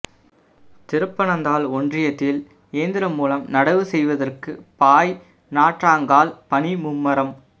திருப்பனந்தாள் ஒன்றியத்தில் இயந்திரம் மூலம் நடவு செய்வதற்கு பாய் நாற்றாங்கால் பணி மும்முரம்